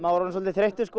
orðinn svolítið þreyttur